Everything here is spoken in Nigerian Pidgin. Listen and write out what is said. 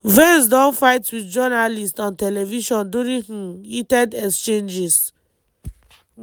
vance don fight wit journalists on television during um heated exchanges.